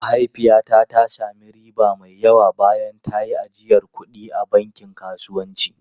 Mahaifiyata ta sami riba mai yawa bayan ta yi ajiyar kuɗi a bankin kasuwanci.